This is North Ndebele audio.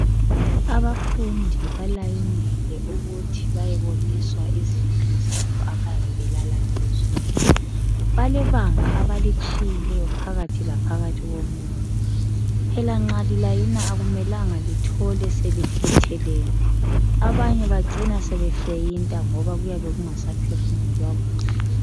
Abafundi balayinile ukuthi bayeboniswa izindlu zabo abayabe belala kizo. Balebanga abalitshiyileyo phakathi laphakathi komunye. Phela nxa lilayina akumelanga lithole selifuthelene abanye bacinea sebefeyita ngoba kuyabe sekungasaphefumulwa kuhle